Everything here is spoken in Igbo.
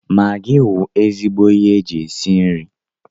Magị wụ ezigbo ihe eji esi nri.